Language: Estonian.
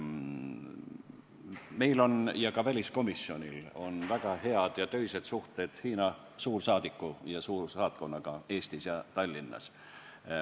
Meil ja ka väliskomisjonil on väga head töised suhted Hiina suursaadiku ja suursaatkonnaga Tallinnas.